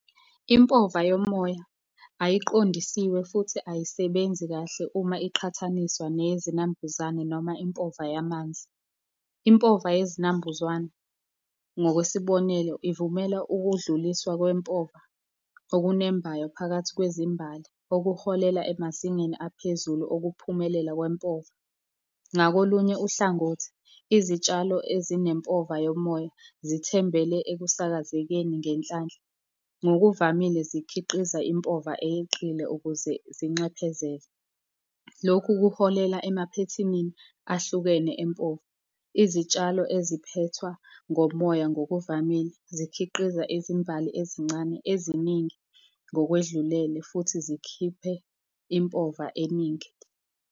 Impova yomoya ayiqondisiwe futhi ayisebenzi kahle uma iqhathaniswa neyezinambuzane noma impova yamanzi. Impova yezinambuzane ngokwesibonelo, ivumela ukudluliswa kwempova okunembayo phakathi kwezimbali okuholela emazingeni aphezulu okuphumelela kwempova. Ngakolunye uhlangothi, izitshalo ezinempova yomoya zithembele ekusakazekeni ngenhlanhla. Ngokuvamile zikhiqiza impova eyeqile ukuze zinxephezele. Lokhu kuholela emaphethinini ahlukene empova. Izitshalo eziphethwa ngomoya, ngokuvamile zikhiqiza izimbali ezincane eziningi ngokwedlulele futhi zikhiphe impova eningi.